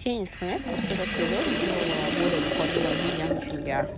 день интернет просто этот видос дела более тупорылый обезьяна чем я